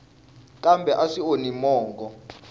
kambe a swi onhi mongo